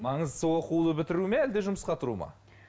маңыздысы оқуды бітіру ме әлде жұмысқа тұру ма